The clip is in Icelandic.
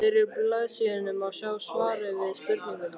miðri blaðsíðunni má sjá svarið við spurningunni